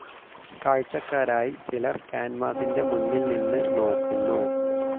കാഴ്ച്ചക്കാരായി ചിലർ കാൻവാസിൻ്റെ മുന്നിൽ നിന്ന് നോക്കുന്നു.